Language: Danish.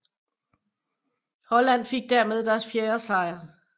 Holland fik dermed deres fjerde sejr